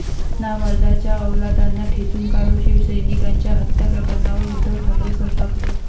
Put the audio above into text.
नामर्दाच्या अवलादांना ठेचून काढू, शिवसैनिकांच्या हत्या प्रकरणावर उद्धव ठाकरे संतापले